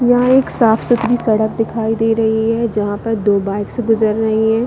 यहाँ एक साफ -सुथरी सड़क दिखाई दे रही है जहाँ पर दो बाइक्स गुजर रही है।